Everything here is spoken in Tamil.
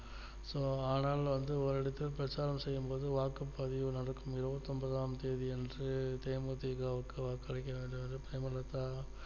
so ஆனால் வந்து ஓரிடத்தில் பிரச்சாரம் செய்யும்போது வாக்குப்பதவி நடக்கும் இருவத்தி ஒன்பதாம் தேதி அன்று தே மு தி க விற்கு வாக்களிக்க வேண்டும் என்று பிரேமலதா